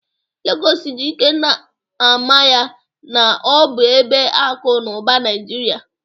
Legọs ji ike na-ama ya na ọ bụ ebe akụ na ụba Naijiria.